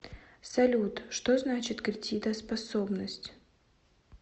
салют что значит кредитоспособность